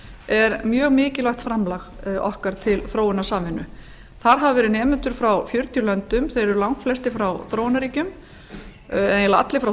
er mjög mikilvægt framlag okkar til þróunarsamvinnu þar hafa verið nemendur frá fjörutíu löndum þeir eru langflestir frá þróunarríkjum eiginlega allir frá